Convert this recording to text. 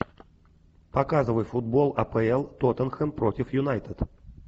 показывай футбол апл тоттенхэм против юнайтед